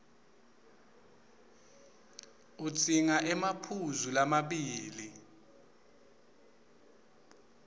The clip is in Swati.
udzinga emaphuzu lamabili